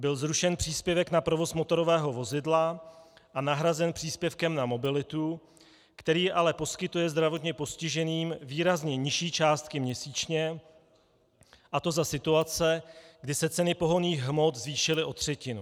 Byl zrušen příspěvek na provoz motorového vozidla a nahrazen příspěvkem na mobilitu, který ale poskytuje zdravotně postiženým výrazně nižší částky měsíčně, a to za situace, kdy se ceny pohonných hmot zvýšily o třetinu.